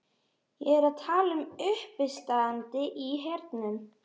Ég er að tala um uppistandið í hernum.